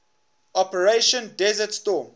operation desert storm